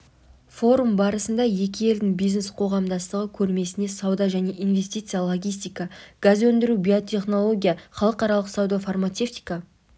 форум барысында екі елдің бизнес-қоғамдастығы көрмесіне сауда және инвестиция логистика газ өндіру биотехнология халықаралық сауда фармацевтика